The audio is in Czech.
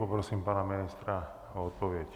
Poprosím pana ministra o odpověď.